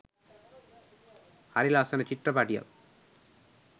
හරි ලස්සන චිත්‍රපටියක්